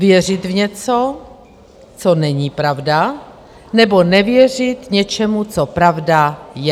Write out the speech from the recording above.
Věřit v něco, co není pravda, nebo nevěřit něčemu, co pravda je.